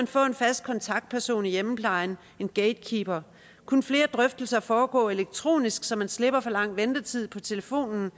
få en fast kontaktperson i hjemmeplejen en gatekeeper kunne flere drøftelser foregå elektronisk så man slipper for lang ventetid på telefonen